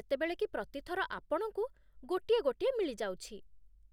ଯେତେବେଳେ କି ପ୍ରତି ଥର ଆପଣଙ୍କୁ ଗୋଟିଏ ଗୋଟିଏ ମିଳିଯାଉଛି।